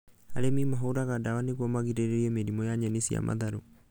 Arĩmi mahũraga ndawa nĩguo magirĩrĩrie mĩrimũ ya nyeni cia matharũ